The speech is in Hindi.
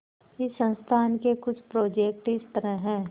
इस संस्थान के कुछ प्रोजेक्ट इस तरह हैंः